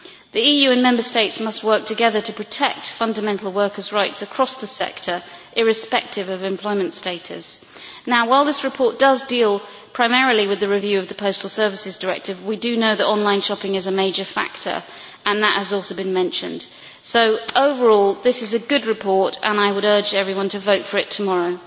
The EU and the Member States must work together to protect fundamental workers' rights across the sector irrespective of employment status. Now while this report deals primarily with the review of the Postal Services Directive, we know that online shopping is a major factor, and that has also been mentioned. So overall, this is a good report, and I would urge everyone to vote for it tomorrow.